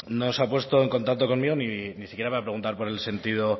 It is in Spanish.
no se ha puesto en contacto conmigo ni siquiera para preguntar por el sentido